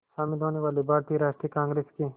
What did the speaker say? शामिल होने वाले भारतीय राष्ट्रीय कांग्रेस के